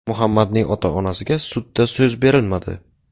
Muhammadning ota-onasiga sudda so‘z berilmadi.